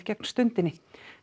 gegn Stundinni